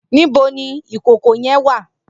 Nibó ni ikókó yèn wá?